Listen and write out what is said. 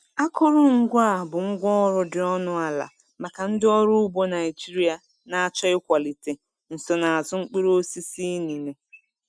Akụrụngwa a bụ ngwá ọrụ dị ọnụ ala maka ndị ọrụ ugbo Naijiria na-achọ ịkwalite nsonaazụ mkpụrụ osisi inine.